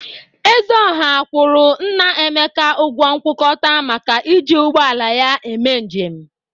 Ezeọha kwọrọ nna Emeka ọgwọ nkwụkọta maka iji ụgbọ ala ya mee njem.